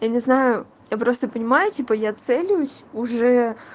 я не знаю я просто понимаю типа я целюсь уже